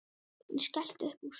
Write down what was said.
Hún skellti upp úr.